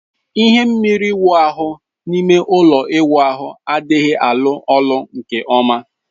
Ihe mmiri ịwu ahụ dị n'ime ụlọ ịwụ ahu a adịghị alu olu nke ọma